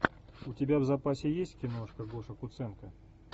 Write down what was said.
у тебя в запасе есть киношка гоша куценко